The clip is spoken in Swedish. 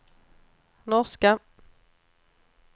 norska